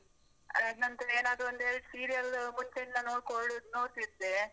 ಅದ್ನಾತ್ರ, ಏನ್ ಆದ್ರು ಎರ್ಡ್ serial ಮುಂಚಿಂದ ನೋಡ್ಕೊಳ್ಳುದ್ ನೋಡ್ತಿದ್ದೆ.